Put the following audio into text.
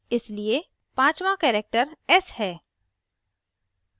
इसलिए पाँचवाँ character s है